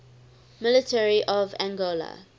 military of angola